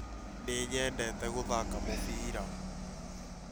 Nĩ nyendete gũthaka mũbira